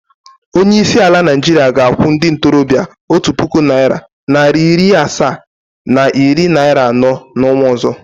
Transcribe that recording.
Onyeisi ala Naịjirịa ga-akwụ ndị ntorobịa otu puku naịra, naịra iri asaa na iri naịra anọ n’ọnwa ọzọ.